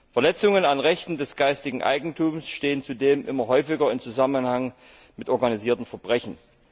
Verletzungen an Rechten des geistigen Eigentums stehen zudem immer häufiger im Zusammenhang mit organisiertem Verbrechen.